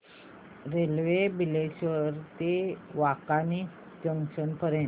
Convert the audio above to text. railway Bileshwar ते Wankaner junction पर्यंत